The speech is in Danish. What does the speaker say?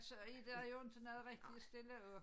Så er der jo inte noget rigtig at stille op